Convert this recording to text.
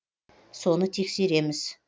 соны тексереміз